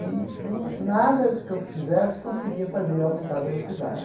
E nu nada que eu fizesse conseguia fazer ele aumentar a velocidade.